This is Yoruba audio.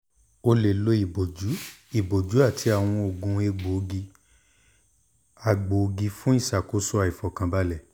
o le lo iboju iboju ati awọn oogun egboogi-agboogi fun iṣakoso aifọkanbalẹ